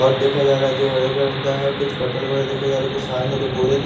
और देखा जा रहा है जो हरे कलर का है कुछ पर्टल वगैरह देखे जा रहे हैं कुछ साथ साथ --